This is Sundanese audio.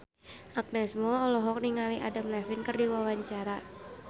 Agnes Mo olohok ningali Adam Levine keur diwawancara